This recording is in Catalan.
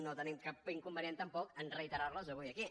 no tenim cap inconvenient tampoc a reiterar les avui aquí